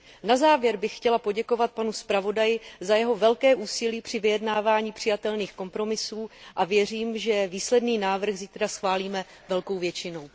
Na závěr bych chtěla poděkovat panu zpravodaji za jeho velké úsilí při vyjednávání přijatelných kompromisů a věřím, že výsledný návrh zítra schválíme velkou většinou.